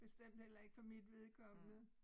Bestemt heller ikke for mit vedkommende